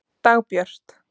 Dagbjört